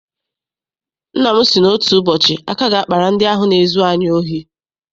Nna m sị na otu ụbọchị aka ga- akpara ndị ahụ na-ezu anyị ohi.